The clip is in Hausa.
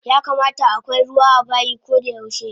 Yakamata akwai ruwa abayi kodayaushe